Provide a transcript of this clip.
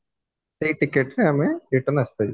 ସେଇ ଟିକେଟରେ ଆମେ return ଆସିପାରିବୁ